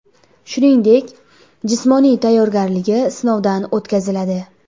Shuningdek, jismoniy tayyorgarligi sinovdan o‘tkaziladi.